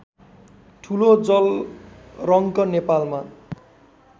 ठुलो जलरङ्क नेपालमा